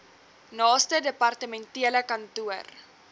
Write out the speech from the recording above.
naaste departementele kantoor